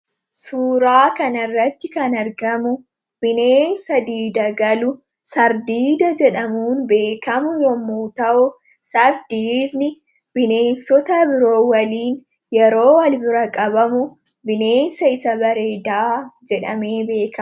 Suuraa kanarratti kan argamu bineensa diida galu harree diidaa jedhamuun kan beekamu yommuu ta'u, hardiidni bineensota biroo waliin yeroo wal bira qabamu bineensa isa bareedaa jedhamuun beekamudha.